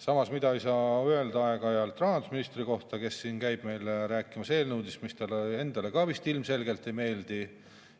Samas, midagi sellist ei saa öelda rahandusministri kohta, kes siin aeg-ajalt käib meil rääkimas eelnõudest, mis talle endale ka ilmselgelt ei meeldi,